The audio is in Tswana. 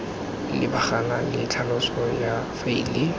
lebagana le tlhaloso ya faele